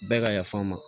Bɛɛ ka yaf'an ma